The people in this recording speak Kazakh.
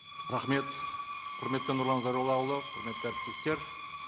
рахмет құрметті нұрлан зайроллаұлы құрметті әріптестер